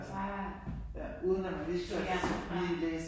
Bare. Ja bare